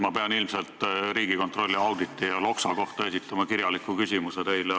Ma pean teile ilmselt Riigikontrolli auditi ja Loksa kohta kirjaliku küsimuse esitama.